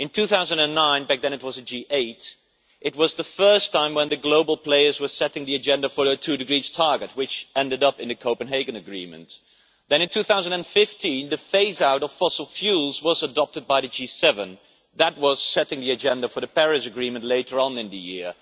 In 2009 back then it was a G it was the first time when the global players were setting the agenda for the 2°C target, which ended up in the Copenhagen agreement. Then, in 2015, the phase out of fossil fuels was adopted by the G7 that was setting the agenda for the Paris Agreement later on in the year.